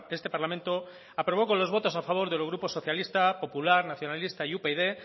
este parlamento aprobó con los votos a favor de los grupos socialista popular nacionalista y upyd